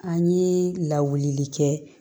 An ye lawuli kɛ